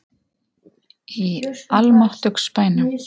Í almáttugs bænum!